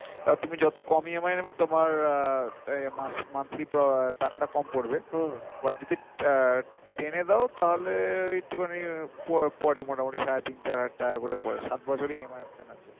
তা তুমি যত কম E. M. I. নেবে তোমার আহ মান~ monthly টাকাটা কম পরবে but যদি আহ টেনে দাও তাহলে একটুখানি প~ পরে মোটামুটি সাড়ে তিন চার হাজার টাকা করে পরে সাত বছরের E. M. I.